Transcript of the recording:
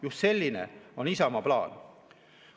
Just selline on Isamaa plaan.